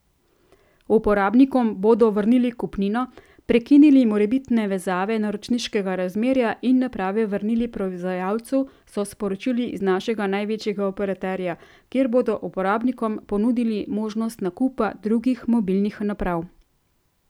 Uporabnikom bodo vrnili kupnino, prekinili morebitne vezave naročniškega razmerja in naprave vrnili proizvajalcu, so sporočili iz našega največjega operaterja, kjer bodo uporabnikom ponudili možnosti nakupa drugih mobilnih naprav.